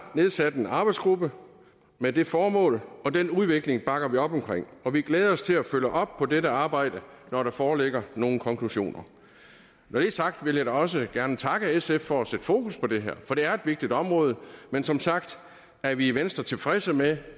nedsat en arbejdsgruppe med det formål og den udvikling bakker vi op om og vi glæder os til at følge op på dette arbejde når der foreligger nogle konklusioner når det er sagt vil jeg også gerne takke sf for at sætte fokus på det her for det er et vigtigt område men som sagt er vi i venstre tilfredse med